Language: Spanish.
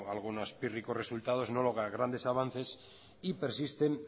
algunos pírricos resultados no logra grandes avances y persisten